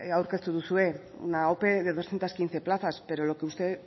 aurkeztu duzue una ope de doscientos quince plazas pero lo que usted